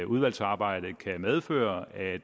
udvalgsarbejdet kan medføre at